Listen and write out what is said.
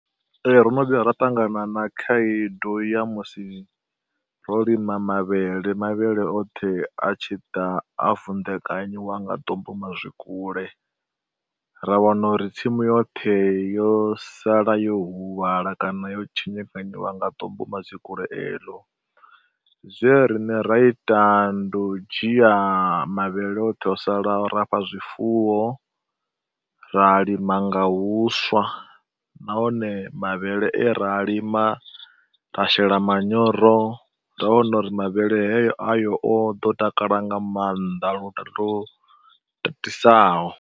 Ee, ro no vhuya ra ṱangana na khaedu ya musi ro lima mavhele, mavhele oṱhe a tshi ḓa a vunḓekanyiwa nga ḓumbumazwikule. Ra wana uri tsimu yoṱhe yo sala yo huvhala kana yo tshinyekanyiwa nga ḓumbumazwikule eḽo. Zwe rine ra ita ndi u dzhia mavhele oṱhe o salaho ra fha zwifuwo, ra lima nga huswa nahone mavhele e ra a lima ra shela manyoro ra wana uri mavhele heyo ayo o ḓo takala nga maanḓa lu to tatisaho.